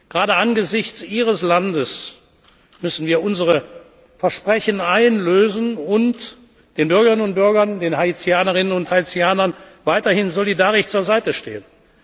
Gerade angesichts Ihres Landes müssen wir unsere Versprechen einlösen und den Bürgerinnen und Bürgern, den Haitianerinnen und Haitianern, weiterhin solidarisch zur Seite stehen.